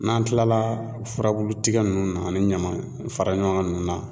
N'an kilala furabulu tigɛ nunnu na ani ɲaman fara ɲɔgɔn kan ninnu na.